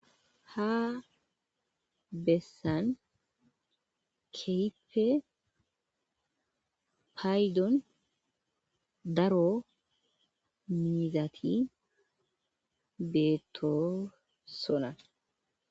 Ha bessan keipe paydon daro miizaati beeto sona